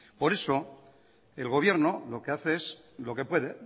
por eso el gobierno lo que hace es lo que puede